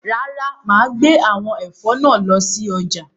Rárá, màá gbé àwọn ẹ̀fọ́ náà lọ sọ́jà.